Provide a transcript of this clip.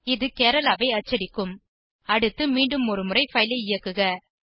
இது கேரள ஐ அச்சடிக்கும் அடுத்து மீண்டும் ஒரு முறை பைல் ஐ இயக்குக